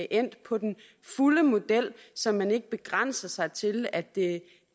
endt på den fulde model så man ikke begrænser sig til at det